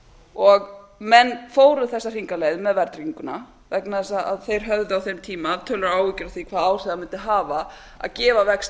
og menn fóru þessa hringleið með verðtrygginguna vegna þess að þeir höfðu á þeim tíma töluverðar áhyggjur af því hvaða áhrif það mundi hafa að gefa vexti